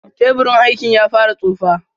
Teburin aikin ya fara tsufa.